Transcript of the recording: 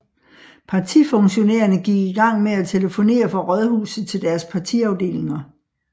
Partifunktionærerne gik i gang med at telefonere fra Rådhuset til deres partiafdelinger